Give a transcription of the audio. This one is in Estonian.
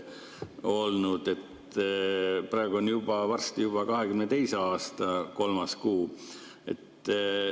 Varsti on juba 2022. aasta kolmas kuu.